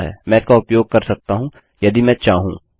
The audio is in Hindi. मैं इसका उपयोग कर सकता हूँ यदि मैं चाहूँ